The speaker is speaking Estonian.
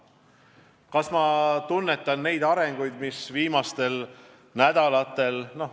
Kas ma tunnetan neid arenguid, mis viimastel nädalatel on toimunud?